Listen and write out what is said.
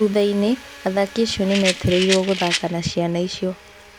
Thuthainĩ, athaki acio nĩ metereirwo gũthaka na ciana icio.